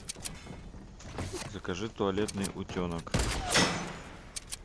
закажи туалетный утенок